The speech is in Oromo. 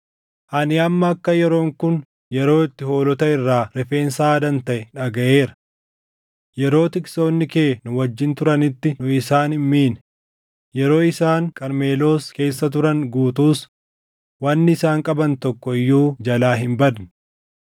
“ ‘Ani amma akka yeroon kun yeroo itti hoolota irraa rifeensa haadan taʼe dhagaʼeera. Yeroo tiksoonni kee nu wajjin turanitti nu isaan hin miine; yeroo isaan Qarmeloos keessa turan guutuus wanni isaan qaban tokko iyyuu jalaa hin badne.